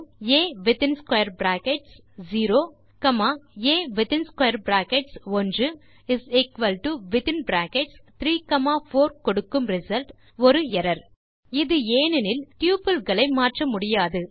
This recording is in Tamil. ah within square brackets 0 a within square brackets 1 is equal to within brackets 3 comma 4 கொடுக்கும் ரிசல்ட் ஒரு எர்ரர் ஏனெனில் டப்பிள் களை மாற்ற முடியாது